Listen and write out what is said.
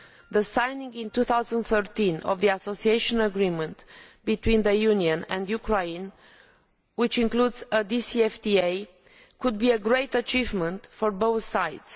The signing in 2013 of the Association Agreement between the Union and Ukraine, which includes a DCFDA, could be a great achievement for both sides.